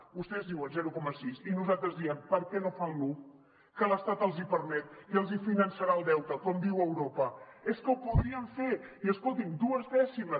vostès diuen zero coma sis i nosaltres diem per què no fan l’un que l’estat els hi permet i els finançarà el deute com diu europa és que ho podrien fer i escolti’m dues dècimes